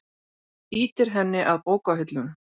Ýtir henni að bókahillunum.